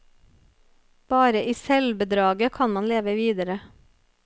Bare i selvbedraget kan man leve videre.